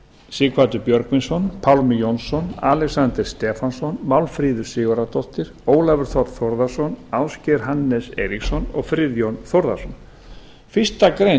sighvatur björgvinsson pálmi jónsson alexander stefánsson málmfríður sigurðardóttir ólafur þ þórðarson ásgeir hannes eiríksson og friðjón þórðarson fyrstu grein